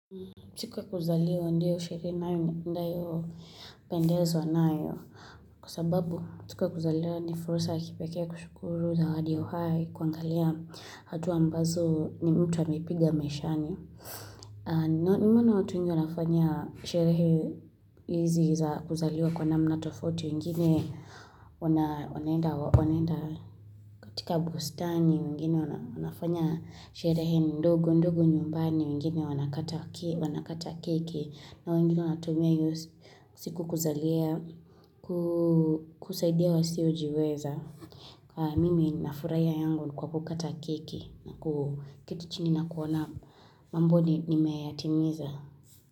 Siku ya kuzaliwa ndiyo sherehe nayo ndiyo napendezwa nayo. Kwa sababu, siku ya kuzaliwa ni fursa ya kipekee ya kushukuru zawadi ya uhai kuangalia hatua ambazo ni mtu amepiga maishani. Nimeona watu wengi wanafanya sherehe hizi za kuzaliwa kwa namna tofauti wengine wanaenda katika bustani wengine wanafanya sherehe ndogo ndogo nyumbani wengine wanakata keki na wengine wanatumia siku hiyo kusaidia wasio jiweza. Mimi nafurahia yangu kwa kukata keki, kwa kuketi chini na kuona mambo nimeyatimiza.